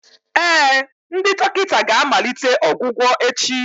Ee, ndị dọkịta ga-amalite ọgwụgwọ echi